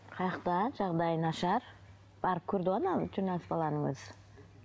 жағдайы нашар барып көрді ғой анау журналист баланың өзі